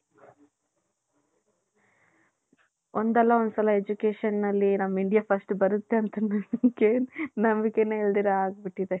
ಒಂದ್ ಅಲ್ಲ ಒಂದ್ ಸಲ education ಅಲ್ಲಿ ನಮ್ಮ india first ಬರುತ್ತೆ ನಂಬಿಕೇನೆ ಇಲ್ದಿರ ಆಗೇ ಅಗ್ಬುತ್ತಿದೆ .